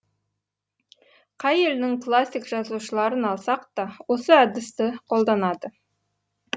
қай елдің классик жазушыларын алсақ та осы әдісті қолданады